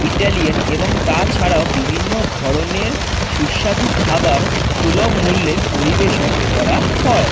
Italian এবং তাছাড়া বিভিন্ন ধরণের সুস্বাদু খাবার সুলভ মূল্যে পরিবেশন করা হয় ।